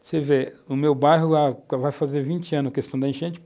Você vê, o meu bairro vai fazer 20 anos a questão da enchente.